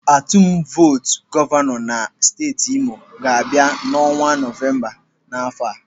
Atum votu gọvanọ na steeti Imo ga-abịa n'ọnwa Novemba n'afọ a.